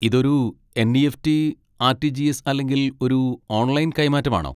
ഇതൊരു NEFT., RTGS. അല്ലെങ്കിൽ ഒരു ഓൺലൈൻ കൈമാറ്റമാണോ?